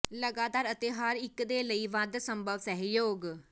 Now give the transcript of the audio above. ਲਗਾਤਾਰ ਅਤੇ ਹਰ ਇੱਕ ਦੇ ਲਈ ਵੱਧ ਸੰਭਵ ਸਹਿਯੋਗ